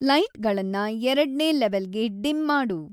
ಲೈಟ್‌ಗಳನ್ನ ಎರಡ್ನೇ ಲೆವೆಲ್‌ಗೆ ಡಿಮ್‌ ಮಾಡು